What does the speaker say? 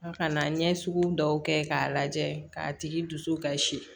An ka na ɲɛ sugu dɔw kɛ k'a lajɛ k'a tigi dusu kasi